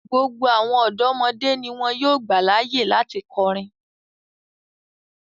Gbogbo awọn ọdọmọde ni wọn yóò gba laaye lati kọrin